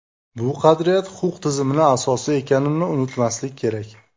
Bu qadriyat huquq tizimining asosi ekanini unutmaslik kerak.